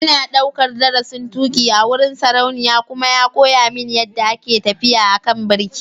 Ina daukar darasin tuki a wurin saurayina kuma ya koya mini yadda ake tafiya a kan birki.